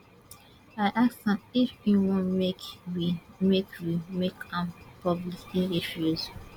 i ask am if e wan make we make we make am public e refuse